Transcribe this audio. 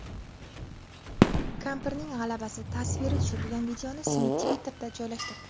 Kampirning g‘alabasi tasviri tushirilgan videoni Smit Twitter’ga joylashtirdi .